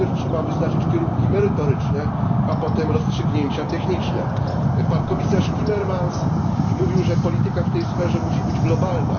Najpierw trzeba wyznaczyć kierunki merytoryczne, a potem rozstrzygnięcia techniczne. Pan komisarz Timmermans mówił, że polityka w tej sferze musi być globalna.